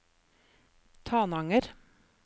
Tananger